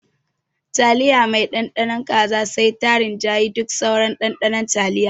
Taliya mai Ɗanɗano kaza sai ta ringayi duka sauran ɗanɗanon taliyar.